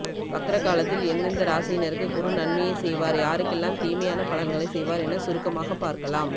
வக்ர காலத்தில் எந்தெந்த ராசியினருக்கு குரு நன்மையை செய்வார் யாருக்கெல்லாம் தீமையான பலன்களை செய்வார் என சுருக்கமாக பார்க்கலாம்